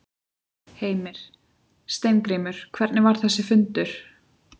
Heimir: Steingrímur, hvernig var þessi fundur?